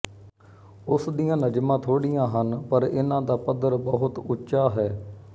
ਉਸ ਦੀਆਂ ਨਜ਼ਮਾਂ ਥੋੜ੍ਹੀਆਂ ਹਨ ਪਰ ਇਨ੍ਹਾਂ ਦਾ ਪੱਧਰ ਬਹੁਤ ਉੱਚਾ ਹੈ